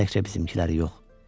Təkcə bizimkiləri yox.